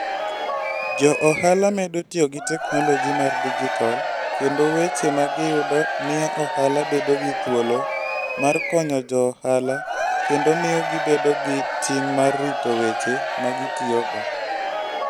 Jo ohala medo tiyo gi teknoloji mar digital, kendo weche ma giyudo miyo ohala bedo gi thuolo mar konyo jo ohala kendo miyo gibedo gi ting' mar rito weche ma gitiyogo.